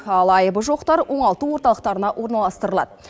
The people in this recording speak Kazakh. ал айыбы жоқтар оңалту орталықтарына орналастырылады